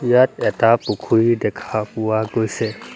ইয়াত এটা পুখুৰী দেখা পোৱা গৈছে।